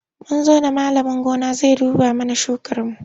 Mun zo da malamin gona zai duba mana shukarmu.